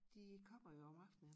De kommer jo om aftenen